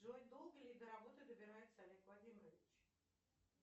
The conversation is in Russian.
джой долго ли до работы добирается олег владимирович